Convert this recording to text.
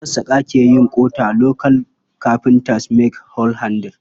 Masassaƙa ke yin ƙota. Local carpebters make hoe handles.